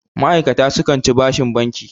ma'aikata sukan ci bashin banki